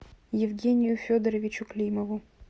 евгению федоровичу климову